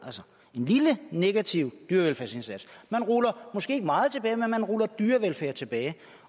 en lille negativ dyrevelfærdsindsats man ruller måske ikke meget tilbage men man ruller dyrevelfærd tilbage